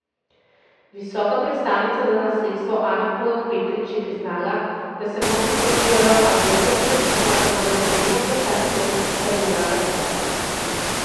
Visoka predstavnica za nasledstvo Ana Polak Petrič je priznala, da se mnogi sprašujejo, ali je res pravično, da mora Slovenija plačati to, kar ji nalaga sodba.